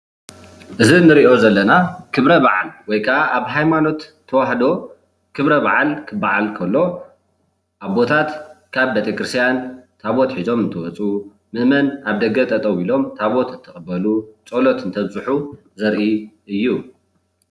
እዚ እንሪኦ ዘለና ክብረ በዓል ወይ ከዓ ኣብ ሃይማኖት ተዋህዶ ክብረ በዓል ክበዓል ከሎ ኣቦታት ካብ ቤተክርስትያን ታወት ሒዞም እንትወፁ መእመን ኣብ ደገ ጠጠው ኢሎም ተወት እንትቅበሉ ፀሎት እንተብፅሑ ዘርኢ እዩ፡፡